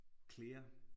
Clear